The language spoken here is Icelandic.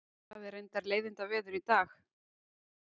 Það er reyndar leiðindaveður í dag